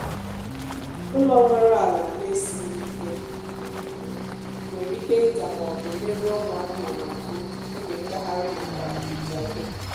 ụlọ nwere ala na-esịghị ike nwere ike ida maọbụ merụọ ụmụ anụmanụ ahụ oge ngagharị nakwa ihicha ihe